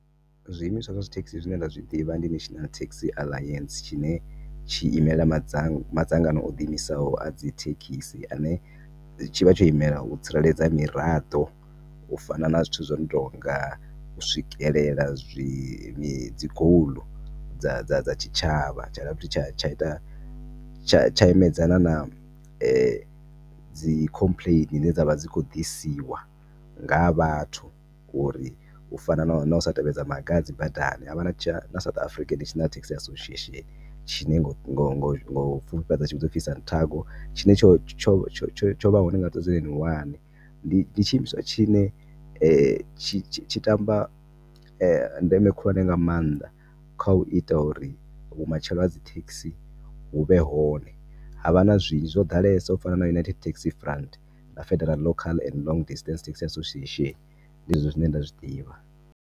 Zwiimiswa zwa dzi thekhisi zwine nda zwi ḓivha ndi National Taxi Alliance tshine tshi imela madza madzangano o ḓi imisaho adzi thekhisi ane tshivha tsho imela u tsireledza miraḓo u fana na zwithu zwino tonga u swikelela zwi, mi, dzi goal dza dza dza tshitshavha tsha dovha tsha tsha ita tsha tsha imedzana na dzi complain dzine dzavha dzi kho ḓisiwa ngaha vhathu uri ufana na na u sa tevhedza maga a dzi badani. Havha na tsha na South African Taxi Association tshine ngo ngo ngo ngo pfufhifhedza tshivhidzwa upfi SANTAGO tshine tsho tsho tshovha hone nga 2001 ndi tshi imiswa tshine tshi tamba ndeme khulwane nga maanḓa kha u ita uri vhumatshelo ha dzi taxi vhu vhe hone havha na zwinzhi zwo ḓalesa u fana na United Taxi Front na Federal local And Long Distance Taxi Association ndi zwezwi zwine nda zwiḓivha.